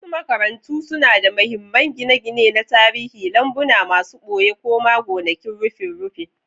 Wasu makarantu suna da mahimman gine-gine na tarihi, lambuna masu ɓoye, ko ma gonakin rufin rufin!